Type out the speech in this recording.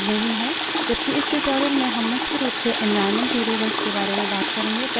ये shells द्वारा बनाए गए सबशेल के लिए उपलब्ध नहीं हैं